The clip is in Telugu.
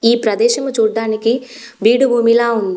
ఈ ప్రదేశము చూడ్డానికి బీడు భూమిలా ఉంది.